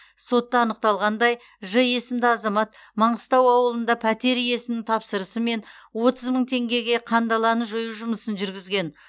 сотта анықталғандай ж есімді азамат маңғыстау ауылында пәтер иесінің тапсырысымен отыз мың теңгеге қандаланы жою жұмысын жүргізген